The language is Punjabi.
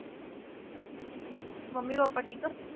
ਮੰਮੀ ਪਾਪਾ ਠੀਕ ਆ?